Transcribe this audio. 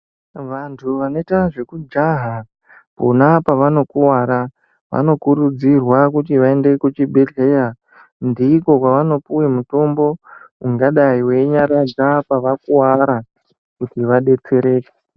Vantu vanoita zvekujaha pona pavanokuwara vanokurudzirwa kuti vaende kuchibhedhleya ndiko kwavanopuwa mitombo ungadai weinyaradza pavakuwara kuti vadetsereke.